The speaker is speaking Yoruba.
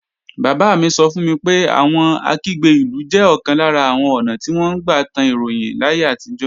Bàbá mi sọ fún mi pé àwọn Akígbe-ìlú jẹ́ ọ̀kan lára àwọn ​​ọ̀nà tí wọ́n gbà tan ròyìn láyé àtijọ́